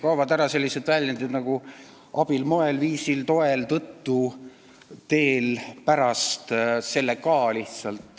Kaovad ära sellised sõnad nagu "abil", "moel", "viisil", "toel", "tõttu", "teel", "pärast", "sellega".